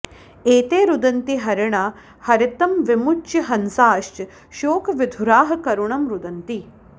एते रुदन्ति हरिणा हरितं विमुच्य हंसाश्च शोकविधुराः करुणं रुदन्ति